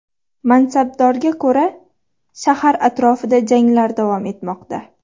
Mansabdorga ko‘ra, shahar atrofida janglar davom etmoqda.